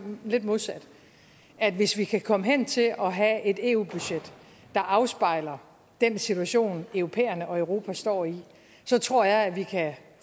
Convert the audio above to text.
lidt modsat hvis vi kan komme hen til at have et eu budget der afspejler den situation europæerne og europa står i så tror jeg at vi kan